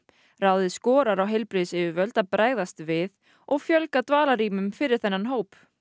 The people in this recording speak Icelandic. ráðið skorar á heilbrigðisyfirvöld að bregðast við og fjölga dagdvalarrýmum fyrir þennan hóp